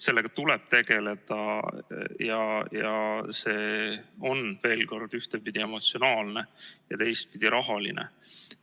Sellega tuleb tegeleda ja see on ühtepidi emotsionaalne ja teistpidi rahaline.